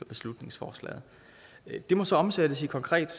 beslutningsforslaget det må så omsættes i konkret